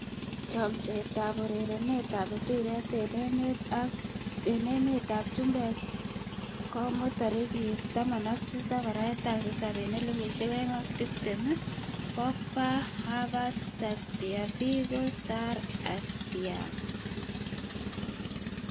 Chomset ab urerenet ab mbiret eng emet ab chumbek komuut 17.07.2020: Pogba, Havertz, Tagliafico, Sarr, Thiago.